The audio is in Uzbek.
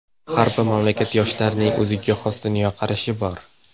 Har bir mamlakat yoshlarining o‘ziga xos dunyoqarashi bor.